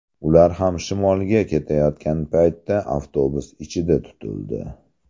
Ular ham shimolga ketayotgan paytda avtobus ichida tutildi.